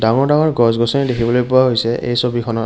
ডাঙৰ ডাঙৰ গছ-গছনি দেখিবলৈ পোৱা হৈছে এই ছবিখনত।